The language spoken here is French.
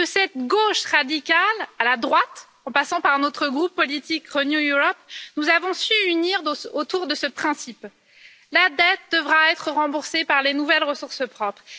Et de cette gauche radicale à la droite, en passant par notre groupe politique Renew Europe, nous avons su unir autour de ce principe la dette devra être remboursée par les nouvelles ressources propres.